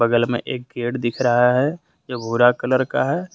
वाल में एक गेट दिख रहा है जो भूरा कलर का है।